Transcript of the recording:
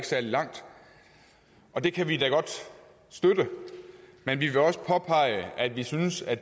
særlig langt det kan vi da godt støtte men vi vil også påpege at vi synes at